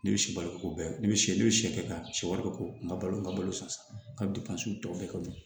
Ne bɛ sibalo ko bɛɛ kɛ ne bɛ sɛgɛn ne bɛ siyɛkɛ tan si siwali bɛ k'o kan n ka balo ka balo san ka don so tɔw bɛɛ ka ɲɛn